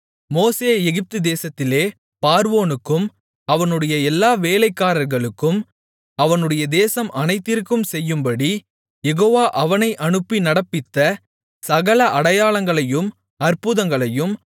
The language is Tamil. மோசே எகிப்துதேசத்திலே பார்வோனுக்கும் அவனுடைய எல்லா வேலைக்காரர்களுக்கும் அவனுடைய தேசம் அனைத்திற்கும் செய்யும்படி யெகோவா அவனை அனுப்பி நடப்பித்த சகல அடையாளங்களையும் அற்புதங்களையும்